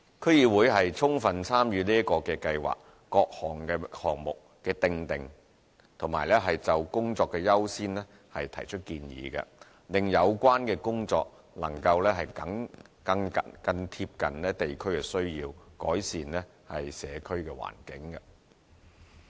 區議會充分參與這個計劃下各項目的訂定，並就工作的優先提出建議，令相關工作能更貼緊地區需要和改善社區環境。